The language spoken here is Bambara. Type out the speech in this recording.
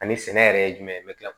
Ani sɛnɛ yɛrɛ ye jumɛn ye me kila